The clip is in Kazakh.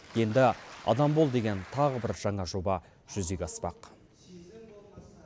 енді адам бол деген тағы бір жаңа жоба жүзеге аспақ